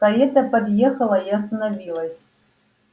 карета подъехала и остановилась